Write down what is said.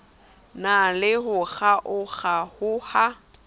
na le ho kgaokg aoha